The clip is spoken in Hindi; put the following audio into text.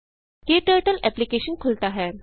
क्टर्टल एप्लिकेशन खुलता है